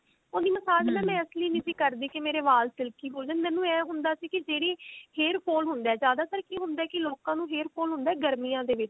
ਉਹਦੀ message ਨਾ ਮੈਂ ਇਸਲਈ ਨਹੀਂ ਕਰਦੀ ਕਿ ਮੇਰੇ ਵਾਲ silky ਹੋ ਜਾਨ ਮੈਨੂੰ ਇਹ ਹੁੰਦਾ ਸੀ ਕਿ ਜਿਹੜੀ hair fall ਹੁੰਦਾ ਜਿਆਦਾਤਰ ਕਿ ਹੁੰਦਾ ਕਿ ਲੋਕਾ ਨੂੰ hair fall ਹੁੰਦਾ ਗਰਮੀਆਂ ਦੇ ਵਿੱਚ